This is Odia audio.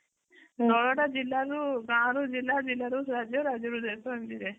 ଷୋହଳ ଟା ଜିଲ୍ଲା ରୁ ଗାଁ ରୁ ଜିଲ୍ଲା ଜିଲ୍ଲାରୁ ରାଜ୍ୟ ରାଜ୍ୟ ରୁ ଦେଶ ଏମିତି ଯାଏ